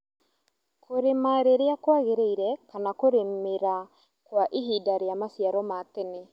Kũrĩma rĩrĩa kwagĩrĩire kana kũrĩmĩra Kwa ihinda rĩa maciaro ma tene